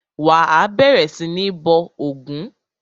Wà á bẹ̀rẹ̀ sí ní bọ ògún!